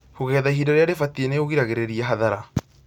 Kũgetha ihinda rĩrĩa rĩbatiĩ nĩũgiragĩrĩria hathara